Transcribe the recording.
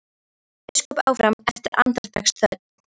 hélt biskup áfram eftir andartaks þögn.